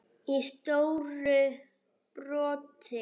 í stóru broti.